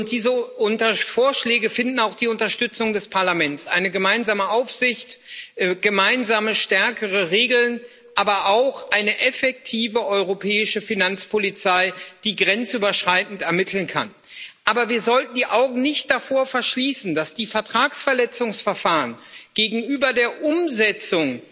Diese Vorschläge finden auch die Unterstützung des Parlaments eine gemeinsame Aufsicht, gemeinsame stärkere Regeln, aber auch eine effektive europäische Finanzpolizei, die grenzüberschreitend ermitteln kann. Aber wir sollten die Augen nicht davor verschließen, dass die Vertragsverletzungsverfahren gegenüber der Umsetzung